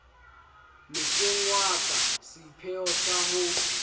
mehlengwa ka seipheo sa ho